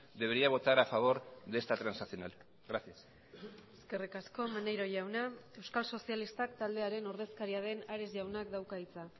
debería votar a favor de esta transaccional gracias eskerrik asko maneiro jauna euskal sozialistak taldearen ordezkaria den ares jaunak dauka hitza